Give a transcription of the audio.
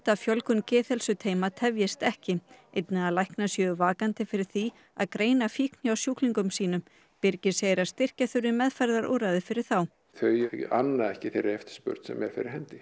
að fjölgun geðheilsuteyma tefjist ekki einnig að læknar séu vakandi fyrir því að greina fíkn hjá sjúklingum sínum birgir segir að styrkja þurfi meðferðarúrræði fyrir þá þau anna ekki þeirri eftirspurn sem er fyrir hendi